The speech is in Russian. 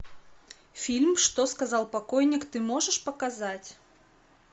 фильм что сказал покойник ты можешь показать